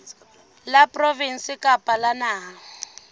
la provinse kapa la naha